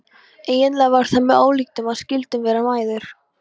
Eiginlega var það með ólíkindum að við skyldum vera mæðgur.